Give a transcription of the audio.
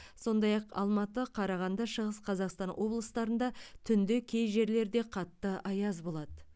сондай ақ алматы қарағанды шығыс қазақстан облыстарында түнде кей жерлерде қатты аяз болады